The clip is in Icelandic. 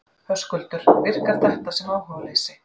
Höskuldur: Virkar þetta sem áhugaleysi?